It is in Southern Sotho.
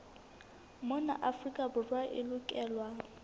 mona afrika borwa e lokelwa